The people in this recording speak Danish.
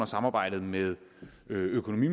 samarbejdet med økonomi